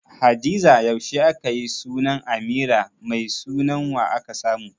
Hadiza yaushe akayi sunan Amira, Mai sunan wa aka samu?